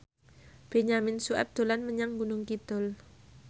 Benyamin Sueb dolan menyang Gunung Kidul